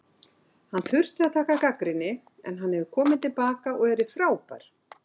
Hann þurfti að taka gagnrýni en hann hefur komið til baka og verið frábær.